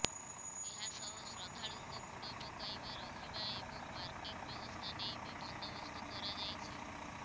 ଏହାସହ ଶ୍ରଦ୍ଧାଳୁଙ୍କ ବୁଡ଼ ପକାଇବା ରହିବା ଏବଂ ପାର୍କିଂ ବ୍ୟବସ୍ଥା ନେଇ ବି ବନ୍ଦୋବସ୍ତ କରାଯାଇଛି